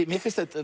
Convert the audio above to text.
mér finnst